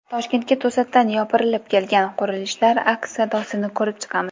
Toshkentga to‘satdan yopirilib kelgan qurilishlar aks sadosini ko‘rib chiqamiz.